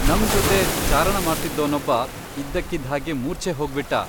ನಮ್ ಜೊತೆ ಚಾರಣ ಮಾಡ್ತಿದ್ದೋನೊಬ್ಬ ಇದ್ದಕ್ಕಿದ್ಹಾಗೆ ಮೂರ್ಛೆ ಹೋಗ್ಬಿಟ್ಟ.